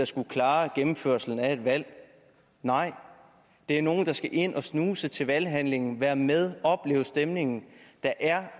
skulle klare gennemførslen af et valg nej det er nogle der skal ind og snuse til valghandlingen være med opleve stemningen der